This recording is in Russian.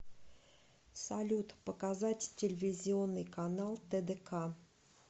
салют показать телевизионный канал тдк